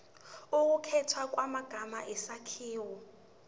ukukhethwa kwamagama isakhiwo